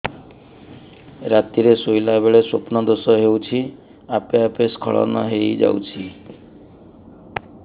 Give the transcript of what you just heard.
ରାତିରେ ଶୋଇଲା ବେଳେ ସ୍ବପ୍ନ ଦୋଷ ହେଉଛି ଆପେ ଆପେ ସ୍ଖଳନ ହେଇଯାଉଛି